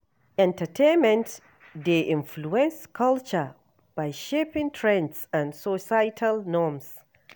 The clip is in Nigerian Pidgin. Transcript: Entertainment dey influence culture by shaping trends and societal norms.